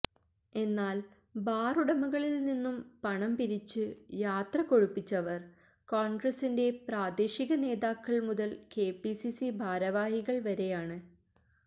എന്നാല് ബാറുടമകളില്നിന്നും പണംപിരിച്ച് യാത്ര കൊഴുപ്പിച്ചവര് കോണ്ഗ്രസിന്റെ പ്രാദേശിക നേതാക്കള് മുതല് കെപിസിസി ഭാരവാഹികള്വരെയാണ്